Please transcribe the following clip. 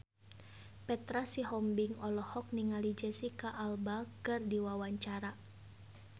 Petra Sihombing olohok ningali Jesicca Alba keur diwawancara